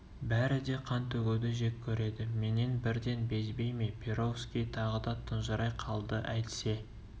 бәрі де қан төгуді жек көреді менен бірден безбей ме перовский тағы да тұнжырай қалды әйтсе